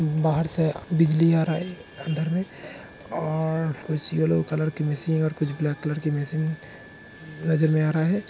बाहर से बिजली आ रहा है अंदर में और कुछ यल्लो कलर की मशीन और कुछ ब्लैक कलर की मशीन नजर में आ रहा है।